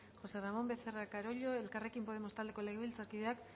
josé ramón becerra carollo elkarrekin podemos taldeko legebiltzarkideak